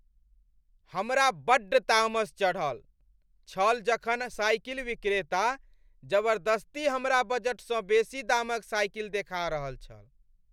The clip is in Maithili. हमरा बड्ड तामस चढ़ल छल जखन साइकिल विक्रेता जबरदस्ती हमरा बजटसँ बेसी दाम क साइकिल देखा रहल छल।